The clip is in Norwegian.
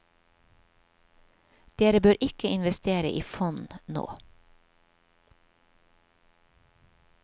Dere bør ikke investere i fond nå.